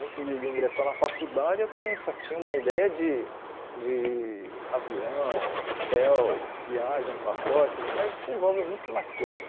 Antes de de ingressar na faculdade, eu também só tinha uma ideia de de avião, hotel, viagem, pacotes, mas envolve muito mais coisa.